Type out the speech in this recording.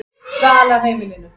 Dvalarheimilinu